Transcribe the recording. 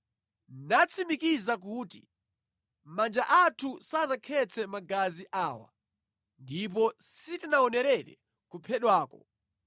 nadzatsimikiza kuti, “Manja athu sanakhetse magazi awa ndipo sitinaonerere kuphedwako.